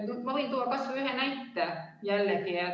Ma võin jällegi tuua kas või ühe näite.